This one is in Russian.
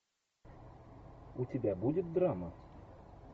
у тебя будет драма